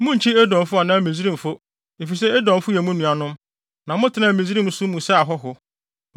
Munnkyi Edomfo anaa Misraimfo, efisɛ Edomfo yɛ mo nuanom, na motenaa Misraimfo nso mu sɛ ahɔho.